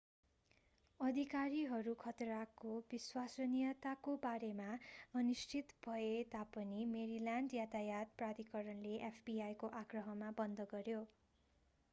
अधिकारीहरू खतराको विश्वसनीयताको बारेमा अनिश्चित भए तापनि मेरील्यान्ड यातायात प्राधिकरणले fbi को आग्रहमा बन्द गर्‍यो।